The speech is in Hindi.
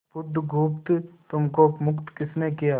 बुधगुप्त तुमको मुक्त किसने किया